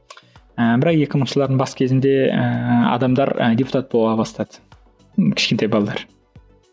ыыы бірақ екі мыңыншы жылдардың бас кезінде ыыы адамдар ы депутат бола бастады кішкентай балалар